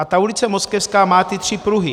A ta ulice Moskevská má ty tři pruhy -